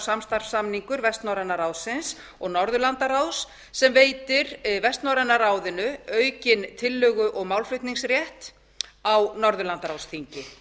samstarfssamningur vestnorræna ráðsins og norðurlandaráðs sem veitir vestnorræna ráðinu aukinn tillögu og málflutningsrétt á norðurlandaráðsþingi